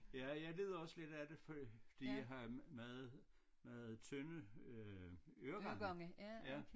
Ja jeg lider også lidt af det fordi jeg har meget meget tynde øh øregange ja